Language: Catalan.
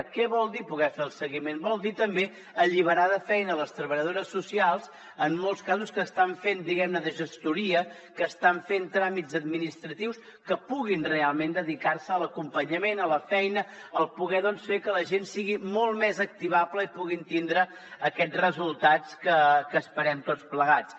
què vol dir poder ne fer el seguiment vol dir també alliberar de feina les treballadores socials en molts casos que estan fent de gestoria que estan fent tràmits administratius que puguin realment dedicar se a l’acompanyament a la feina a poder fer que la gent sigui molt més activable i puguin tindre aquests resultats que esperem tots plegats